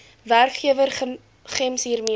werkgewer gems hiermee